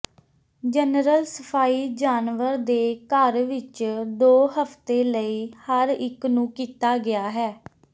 general ਸਫਾਈ ਜਾਨਵਰ ਦੇ ਘਰ ਵਿੱਚ ਦੋ ਹਫਤੇ ਲਈ ਹਰ ਇੱਕ ਨੂੰ ਕੀਤਾ ਗਿਆ ਹੈ